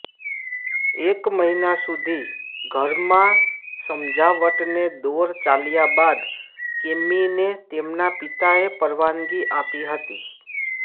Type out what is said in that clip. એક મહિના સુધી ઘરમાં સમજાવટને દોર ચાલ્યા બાદ કેમ્મીને તેમના પિતાએ પરવાનગી આપી હતી